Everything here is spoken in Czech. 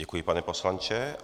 Děkuji, pane poslanče.